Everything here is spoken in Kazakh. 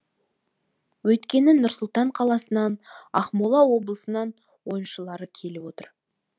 өйткені нұр сұлтан қаласынан ақмола облысынан ойыншылар келіп отыр